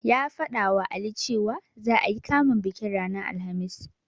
Ya faɗawa Ali cewa, za'a yi kamun bikin ranar Alhamis.